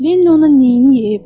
Lenni ona neyniyib?